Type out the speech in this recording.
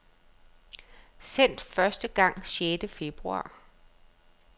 Sendt første gang sjette februar.